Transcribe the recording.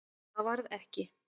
Það varð ekki.